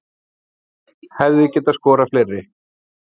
Hefði getað skorað fleiri